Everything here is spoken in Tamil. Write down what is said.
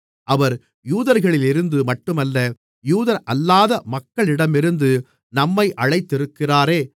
அவர் யூதர்களிலிருந்து மட்டுமல்ல யூதரல்லாத மக்களிடமிருந்து நம்மை அழைத்திருக்கிறாரே